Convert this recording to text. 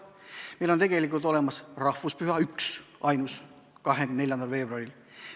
Meil on olemas rahvuspüha – üksainus, 24. veebruaril.